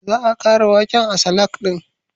Za a ƙara waken a salak ɗin